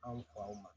Anw faw ma